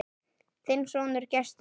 Þinn sonur, Gestur.